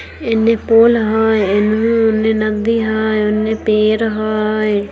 इने पोल हेय उनने नदी हेय उनने पेड़ हेय।